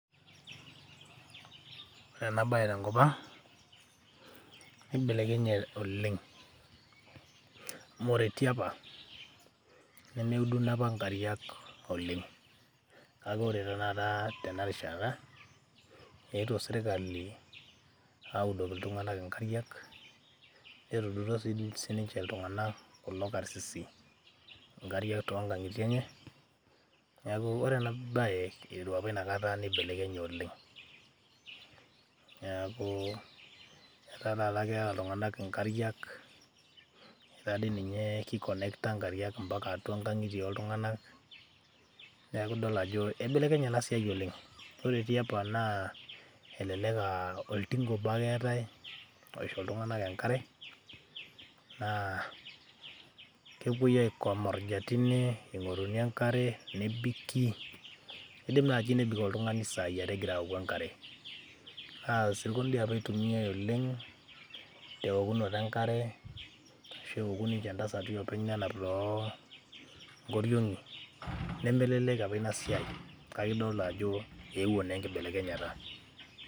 ore ena baye tenkop ang nibelekenye oleng amu ore tiapa nemeuduno apa nkariak oleng kake ore tenakata tena rishata eetuo sirkali audoki iltung'anak inkariak netudutuo sininche iltung'anak kulo karsisi inkariak tonkang'itie enye, neeku ore ena baye iteru api inakata nibelekenye oleng niaku etaa taata keeta iltung'anak inkariak etaa dii ninye kikonekta inkariak mpaka atua inkang'itie oltung'anak neeku idol ajo ibelekenye ena siai oleng, ore tiapa naa elelek aa oltinka obo ake eetae opisho iltung'anak enkare naa kepuoi aikomorja tine ing'oruni enkare nebiki nidim naaji oltung'ani isai are egira aoku enkare naa isirkon dii apa itumiae oleng teokunoto enkare ashu eoku ninche intasati openy nenap toonkoriong'i nemelelek apa ina siai kake idolta ajo eewuo naa enkibelekenyata.